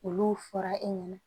Olu fɔra e ɲɛna